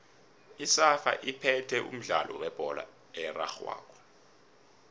isafa iphethe umdlalo webholo erarhwako